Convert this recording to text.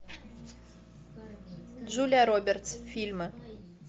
джулия робертс фильмы